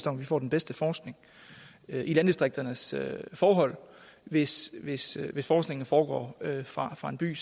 om at vi får den bedste forskning i landdistrikternes forhold hvis hvis forskningen foregår fra fra en by